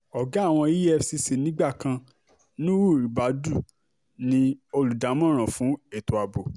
ọ̀gá àwọn efcc nígbà kan nuhu nuhu rabdu ni olùdámọ̀ràn fún ètò ààbò